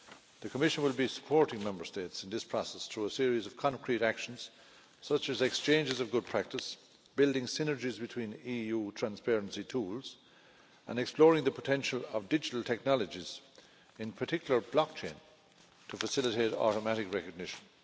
The Commission will be supporting Member States in this process through a series of concrete actions, such as exchanges of good practice, building synergies between EU transparency tools, and exploring the potential of digital technologies in particular blockchain to facilitate automatic recognition.